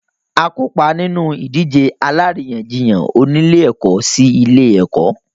A kópa nínú ìdíje alárìíyànjiyàn oní ilé-ẹ̀kọ́ sí ilé-ẹ̀kọ́.